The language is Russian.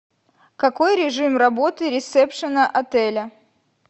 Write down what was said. какой режим работы ресепшна отеля